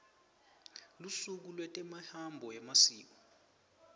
lusuku lwetemihambo nemasiko